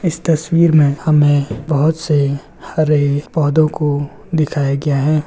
इस तस्वीर में हमें बहुत से हरे पौधों को दिखाया गया है।